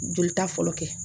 Jolita fɔlɔ kɛ